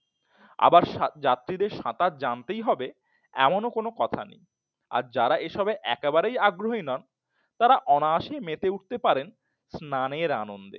আবার যাত্রীদের সাঁতার জানতেই হবে এমন কোন কথা নেই। আর যারা এসব একেবারেই আগ্রহী নন তারা অনায়াসে মেতে উঠতে পারেন স্নানের আনন্দে